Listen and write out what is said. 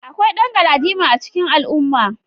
Akwai dan galadima a cikin al'umma.